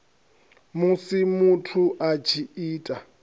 musi muthu a tshi ita